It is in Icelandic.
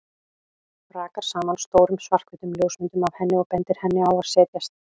Rakar saman stórum, svarthvítum ljósmyndum af henni og bendir henni á að setjast.